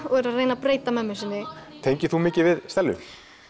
og er að reyna að breyta mömmu sinni tengir þú mikið við Stellu